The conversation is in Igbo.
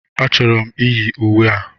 A chọrọ m iyi uwe a.